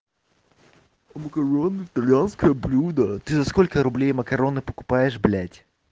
макароны итальянское блюдо ты за сколько рублей макароны покупаешь блядь